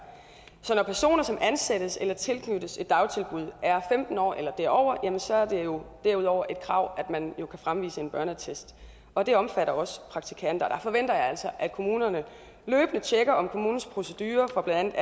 så når personer som ansættes i eller tilknyttes et dagtilbud er femten år eller derover så er det jo derudover et krav at man kan fremvise en børneattest og det omfatter også praktikanter og der forventer jeg altså at kommunerne løbende tjekker om kommunens procedurer for blandt